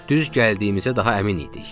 Düz gəldiyimizə daha əmin idik.